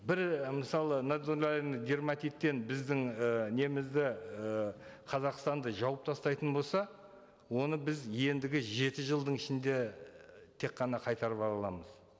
бір мысалы нодулярный дерматиттен біздің і немізді і қазақстанды жауып тастайтын болса оны біз ендігі жеті жылдың ішінде тек қана қайтарып ала аламыз